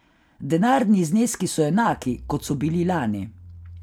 Denarni zneski so enaki, kot so bili lani.